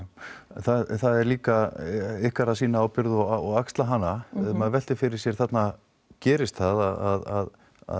það er líka ykkar að sýna ábyrgð og axla hana maður veltir fyrir sér þarna gerist það að